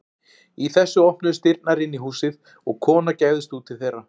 Í þessu opnuðust dyrnar inn í húsið og kona gægðist út til þeirra.